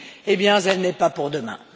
Eh bien elle n'est pas pour demain.